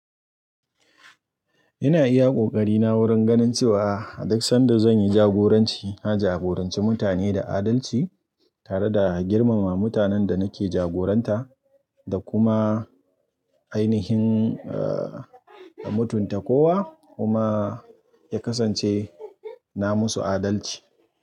Ina iya kokarina wurin ganin cewa, a duk sanda zan yi jagoranci, na jagoranci mutane da adalci tare da girmama mutanen da nake jagoranta da kuma ainihin, mutunta kowa kuma ya kasance na musu adalci.